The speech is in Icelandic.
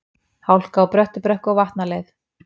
Hálka á Bröttubrekku og Vatnaleið